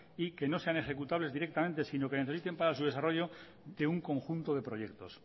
y que no sean ejecutables directamente si no que necesiten para su desarrollo de un conjunto de proyectos